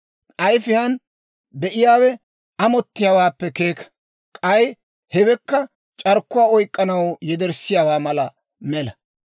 Ayifiyaan be'iyaawe amottiyaawaappe keeka. K'ay hewekka c'arkkuwaa oyk'k'anaw yederssiyaawaa mala mela.